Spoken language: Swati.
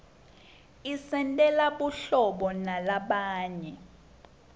isentela buhlobo nalabanye